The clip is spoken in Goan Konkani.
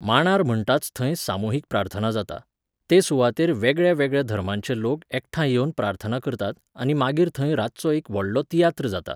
मांडार म्हणटाच थंय सामुहीक प्रार्थना जाता, ते सुवातेर वेगळ्यावेगळ्या धर्मांचे लोक एकठांय येवन प्रार्थना करतात आनी मागीर थंय रातचो एक व्हडलो तियात्र जाता